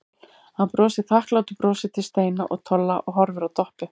Hann brosir þakklátu brosi til Steina og Tolla og horfir á Doppu.